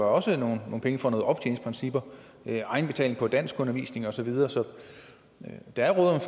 også nogle penge fra optjeningsprincippet egenbetaling på danskundervisning og så videre så der er